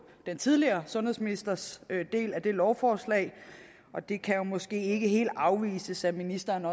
den tidligere sundhedsministers del af lovforslaget og det kan jo måske ikke helt afvises at ministeren